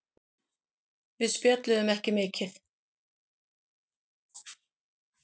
Við spjölluðum ekki mikið.